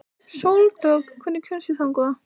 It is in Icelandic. Sóldögg, hvernig kemst ég þangað?